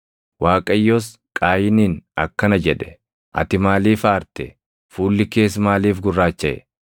Waaqayyos Qaayiniin akkana jedhe; “Ati maaliif aarte? Fuulli kees maaliif gurraachaʼe?